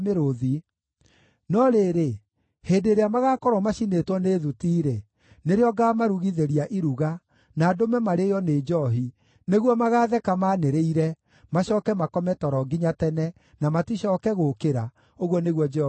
No rĩrĩ, hĩndĩ ĩrĩa magaakorwo macinĩtwo nĩ thuti-rĩ, nĩrĩo ngaamarugithĩria iruga, na ndũme marĩĩo nĩ njoohi, nĩguo magaatheka maanĩrĩire, macooke makome toro nginya tene, na maticooke gũũkĩra,” ũguo nĩguo Jehova ekuuga.